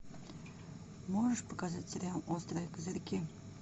можешь показать сериал острые козырьки